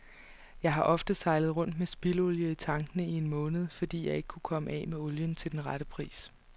Jeg har ofte sejlet rundt med spildolie i tankene i en måned, fordi jeg ikke kunne af med olien til den rette pris.